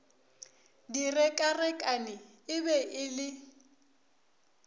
direkarekane e be e le